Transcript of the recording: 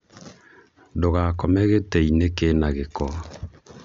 Ndũgakome gĩtĩ-inĩ kĩna gĩko